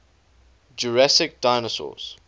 jurassic dinosaurs